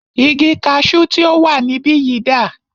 Igi kaṣu tí o wà níbìyí dà?